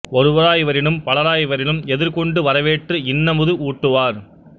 ஒருவராய் வரினும் பலராய் வரினும் எதிர்கொண்டு வரவேற்று இன்னமுது ஊட்டுவார்